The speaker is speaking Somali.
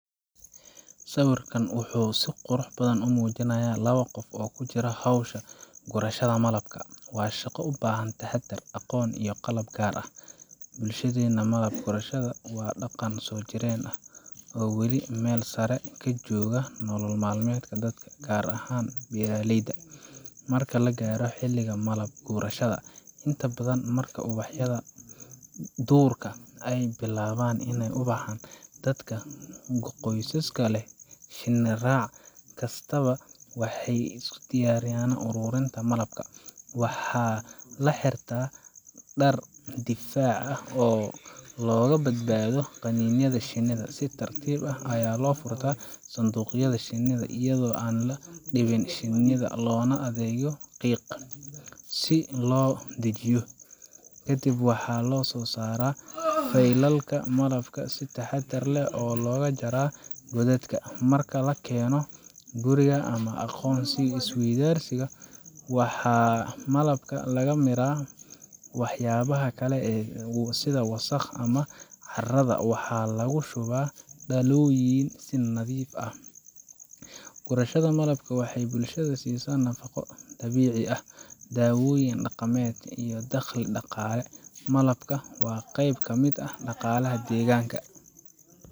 Sawirkan wuxuu si qurux badan u muujinayaa laba qof oo ku jira hawsha gurashada malabka. Waa shaqo u baahan taxaddar, aqoon, iyo qalab gaar ah. Bulshadeenna, malab gurashada waa dhaqan soo jireen ah oo weli meel sare ka jooga nolol maalmeedka dadka, gaar ahaan beeraleyda. Marka la gaaro xilliga malab gurashada inta badan marka ubaxyada duurka ay billaabaan inay ubaxaan dadka qoysaska leh shinni raac kastaaba waxay u diyaargaroobaan ururinta malabka. Waxaa la xirtaa dhar difaac oo looga badbaado qaniinyada shinnida. Si tartiib ah ayaa loo furtaa sanduuqyada shinida, iyadoo aan la dhibin shinida, loona adeegsado qiiq si loo dejiyo. Kadib waxaa la soo saaraa faylalka malabka oo si taxaddar leh looga soo jaraa godadka. Marka la keeno guriga ama aqoon is weydaarsiga, waxaa malabka laga miiraa waxyaabaha kale sida wasakhda ama caarada, waxaana lagu shubaa dhalooyin si nadiif ah. Gurashada malabka waxay bulshada siisaa nafqo dabiici ah, daawooyin dhaqameed, iyo dakhli dhaqaale. Malabku waa qeyb ka mid ah dhaqaalaha deegaanka